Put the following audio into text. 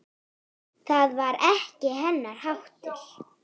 Það var ekki hennar háttur.